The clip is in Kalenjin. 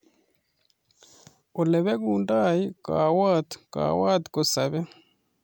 Olepekundoi kawot ,kawot kosape